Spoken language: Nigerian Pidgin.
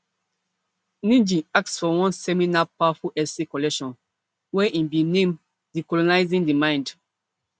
ngg ask for one seminal powerful essay collection wey im bin name decolonising the mind